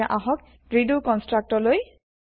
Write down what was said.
এতিয়া আহক redo construct লৈ